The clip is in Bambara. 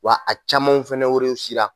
Wa a camanw fɛnɛ werewsila.